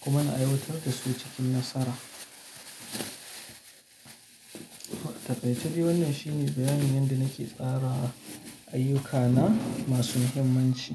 kuma na aiwatar da su cikin nasara. Takaice dai wannan shine bayanin yadda nake tsara ayyukana masu muhimmanci.